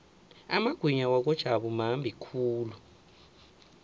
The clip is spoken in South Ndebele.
amagwinya wakojabu mambi khulu